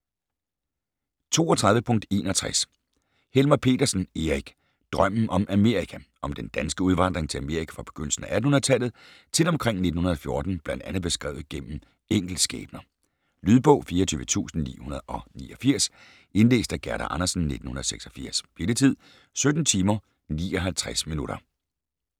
32.61 Helmer Pedersen, Erik: Drømmen om Amerika Om den danske udvandring til Amerika fra begyndelsen af 1800-tallet til omkring 1914 bl.a. beskrevet gennem enkeltskæbner. Lydbog 24989 Indlæst af Gerda Andersen, 1986. Spilletid: 17 timer, 59 minutter.